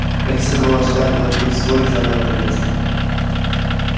как и следовало ожидать белый клык вскоре занял это место